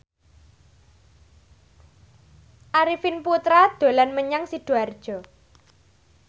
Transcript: Arifin Putra dolan menyang Sidoarjo